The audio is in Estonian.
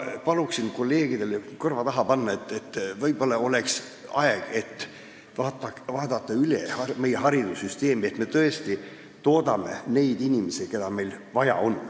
Paluksin kolleegidel kõrva taha panna, et võib-olla oleks aeg vaadata üle meie haridussüsteem ja see, et me tõesti toodaksime neid inimesi, keda meil vaja on.